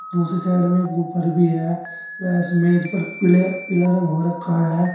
दूसरी साइड में वूफर भी है वह इस मेज पर पीले पीला रंग हो रखा है।